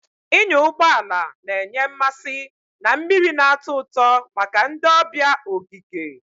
Ịnya ụgbọ ala na-enye mmasị na mmiri na-atọ ụtọ maka ndị ọbịa ogige.